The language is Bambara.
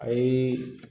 A ye